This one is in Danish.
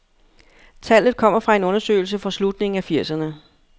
Tallet kommer fra en undersøgelse fra slutningen af firserne.